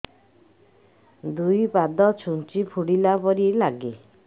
ଦୁଇ ପାଦ ଛୁଞ୍ଚି ଫୁଡିଲା ପରି ଲାଗେ